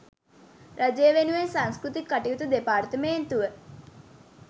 රජය වෙනුවෙන් සංස්කෘතික කටයුතු දෙපාර්තමේන්තුව